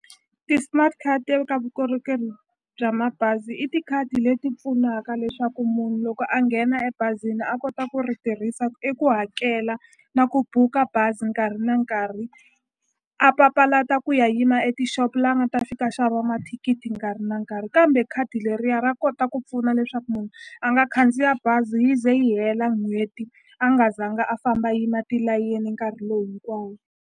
Ti-smart ka vukorhokeri bya mabazi i tikhadi leti pfunaka leswaku munhu loko a nghena ebazini a kota ku ri tirhisa i ku hakela na ku buka bazi nkarhi na nkarhi a papalata ku ya yima e tixopo la nga ta fika a xava mathikithi nkarhi na nkarhi kambe khadi leriya ra kota ku pfuna leswaku munhu a nga khandziya bazi yi ze yi hela n'hweti a nga zanga a famba yima tilayeni nkarhi lowu hinkwawo.